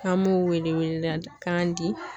An m'o wele welekan di